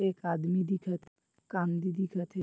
एक आदमी दिखत कांदी दिखत हे।